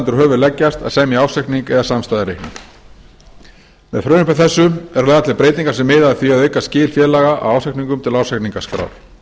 undir höfuð leggjast að semja ársreikning eða samstæðureikning með frumvarpi þessu eru lagðar til breytingar sem miða að því að auka skil félaga á ársreikningum til ársreikningaskrár